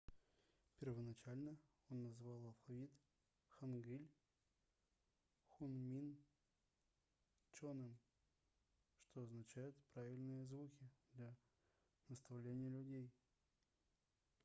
первоначально он назвал алфавит хангыль хунмин чоным что означает правильные звуки для наставления людей